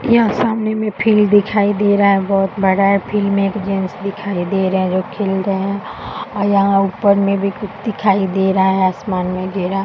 यहाँ सामने में फील्ड दिखाई दे रहा है बहोत बड़ा है। फील्ड में एक जेंट्स दिखाई दे रहे है जो खेल रहे हैं और यहाँ ऊपर में भी कुछ दिखाई दे रहा है आसमान में घेरा।